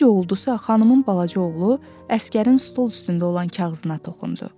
Necə oldusa, xanımın balaca oğlu əsgərin stol üstündə olan kağızına toxundu.